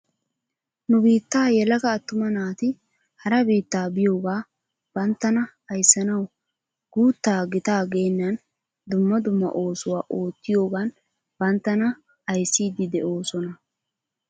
Nu biittaa yelaga attuma naati hara biitta biyooga banttana ayissanaw guuttaa gitaa geennan dumma dumma oosuwaa oottiyoogan banttana ayssidi de'oosona.